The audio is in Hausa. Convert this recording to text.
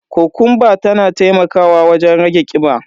Kokumba tana taimakawa wajen rage kiba.